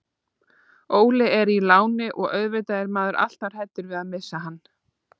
Óli er í láni og auðvitað er maður alltaf hræddur við að missa hann.